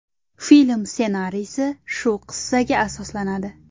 Film ssenariysi shu qissaga asoslanadi.